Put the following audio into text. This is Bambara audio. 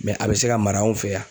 a bɛ se ka mara anw fɛ yan.